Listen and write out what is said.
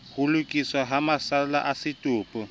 lokiswa ha masalla a setopo